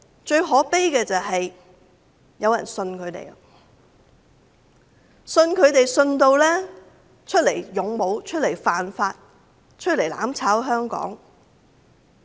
最可悲的是有人相信他們，故此出來當勇武、出來犯法、出來"攬炒"香港。